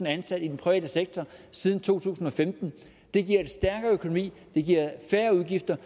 ansat i den private sektor siden to tusind og femten det giver en stærkere økonomi det giver færre udgifter